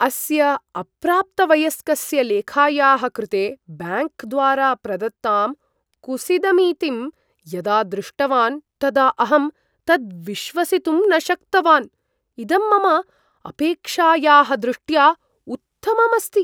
अस्य अप्राप्तवयस्कस्य लेखायाः कृते ब्याङ्क् द्वारा प्रदत्तां कुसीदमितिं यदा दृष्टवान् तदा अहं तद् विश्वसितुं न शक्तवान्, इदं मम अपेक्षायाः दृष्ट्या उत्तमम् अस्ति।